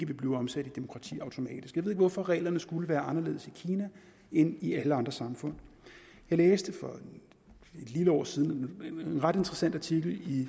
vil blive omsat i demokrati automatisk jeg ved ikke hvorfor reglerne skulle være anderledes i kina end i alle andre samfund jeg læste for et lille år siden en ret interessant artikel i